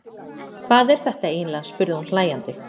Hvað er þetta eiginlega, spurði hún hlæjandi.